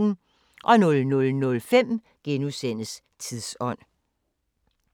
00:05: Tidsånd *